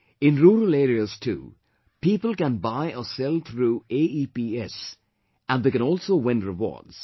In rural areas too, people can buy or sell through AEPS and they can also win rewards